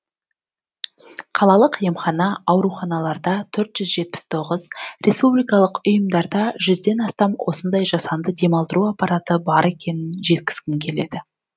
қалалық емхана ауруханаларда төрт жүз жетпіс тоғыз республикалық ұйымдарда жүзден астам осындай жасанды демалдыру аппараты бар екенін жеткізгім келеді